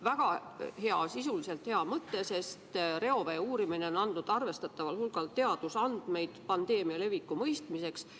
Väga hea, sisuliselt hea mõte, sest reovee uurimine on andnud arvestataval hulgal teadusandmeid pandeemia leviku mõistmiseks.